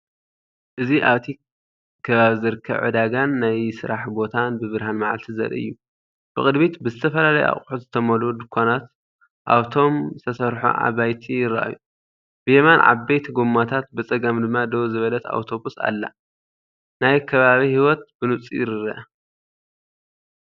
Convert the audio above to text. እዚ ኣብቲ ከባቢ ዝርከብ ዕዳጋን ናይ ስራሕ ቦታን ብብርሃን መዓልቲ ዘርኢ እዩ። ብቕድሚት ብዝተፈላለዩ ኣቑሑት ዝተመልኡ ድኳናት ኣብቶም ዝተሰርሑ ኣባይቲ ይረኣዩ። ብየማን ዓበይቲ ጎማታት፡ ብጸጋም ድማ ደው ዝበለት ኣውቶቡስ ኣላ። ናይ ከባቢ ህይወት ብንጹር ይርአ።